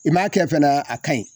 I m'a kɛ fɛnɛ a ka ɲi